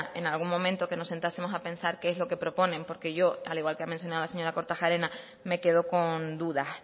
en algún momento que nos sentásemos a pensar qué es lo que proponen porque yo al igual que ha mencionado la señora kortajarena me quedo con dudas